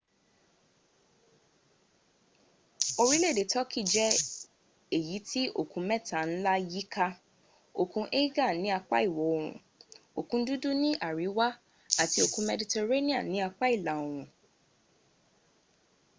orile ede turkey je eyiti okun nla meta yi ka okun aegean ni apa iwo oorun okun dudu ni ariwa ati okun medirettanean ni apa ila oorun